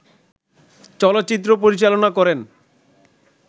চলচ্চিত্র পরিচালনা করেন